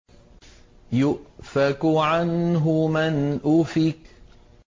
يُؤْفَكُ عَنْهُ مَنْ أُفِكَ